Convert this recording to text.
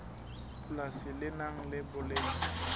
polasi le nang le boleng